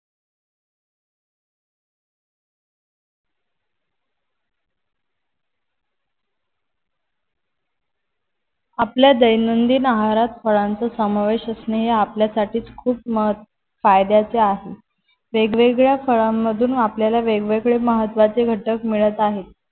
आपल्या दैनदीन आहारात फळांचा समावेश असणे हे आपल्यासाठीच खूप फायद्याचे आहे वेगवेगळ्या फळाण मधून आपल्याला वेगवेगळे महत्वाचे घटक मिळत आहेत.